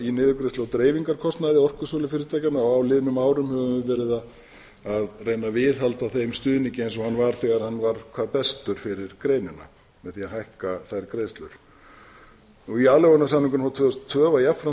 í niðurgreiðslu á dreifingarkostnaði orkusölufyrirtækjanna á liðnum árum höfum við verið að reyna að viðhalda þeim stuðningi eins og hann var þegar hann var hvað bestur fyrir greinina með því að hækka þær greiðslur í aðlögunarsamningunum frá tvö þúsund og tvö var jafnframt